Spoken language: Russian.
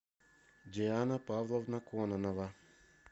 диана павловна кононова